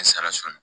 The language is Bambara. N sara so